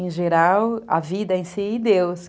Em geral, a vida em si e Deus.